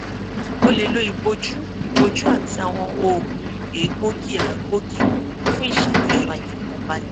o le lo iboju iboju ati awọn oogun egboogiagboogi fun iṣakoso aifọkanbalẹ